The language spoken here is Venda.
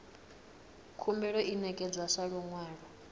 khumbelo i ṋekedzwa sa luṅwalo